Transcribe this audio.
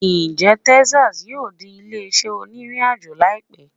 Njẹ Texas yoo di ile-iṣẹ oniriajo laipẹ?